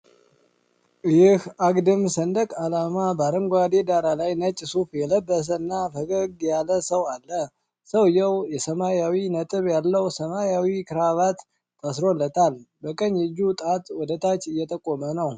ይህ አግድም ሰንደቅ ዓላማ በአረንጓዴ ዳራ ላይ ነጭ ሱፍ የለበሰና ፈገግ ያለን ሰው አለ። ሰውየው የሰማያዊ ነጥብ ያለው ሰማያዊ ክራቫት ታስሮለታል፤ በቀኝ እጁ ጣት ወደ ታች እየጠቆመ ነው።